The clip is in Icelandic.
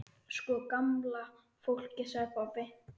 Sko gamla fólkið sagði pabbi.